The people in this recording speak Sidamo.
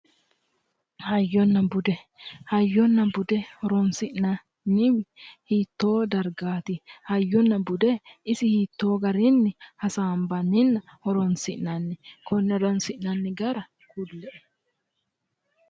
Hayyonna bude, hayyonna bude horonsi'nanniwi hiitto dargati, hayyonna bude isi hiitto garinni hasaambaninna horonsi'nanni konne horonsi'nanni gara kulle"e !